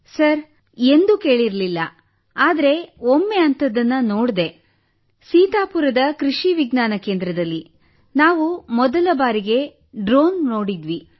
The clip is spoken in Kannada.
ಸರ್ ನಾವು ಎಂದೂ ಕೇಳಿರಲಿಲ್ಲ ಆದರೆ ಒಮ್ಮೆ ಅಂತಹದನ್ನು ನೋಡಿದ್ದೆ ಸೀತಾಪುರದ ಕೃಷಿ ವಿಜ್ಞಾನ ಕೇಂದ್ರದಲ್ಲಿ ನಾವು ಮೊದಲ ಬಾರಿಗೆ ಡ್ರೋನ್ ನೋಡಿದ್ದೆವು